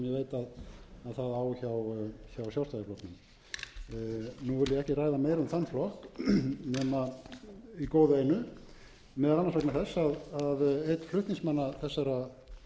það á hjá sjálfstæðisflokknum nú vil ég ekki ræða meira um þann flokk nema í góðu einu meðal annars vegna þess að einn flutningsmanna þessa frumvarps